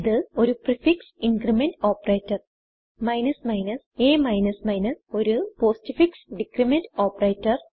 ഇത് ഒരു prefix increment operator a ഒരു പോസ്റ്റ്ഫിക്സ് ഡിക്രിമെന്റ് ഓപ്പറേറ്റർ